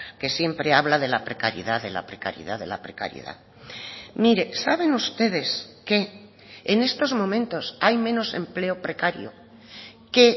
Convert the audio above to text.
que siempre habla de la precariedad de la precariedad de la precariedad mire saben ustedes que en estos momentos hay menos empleo precario que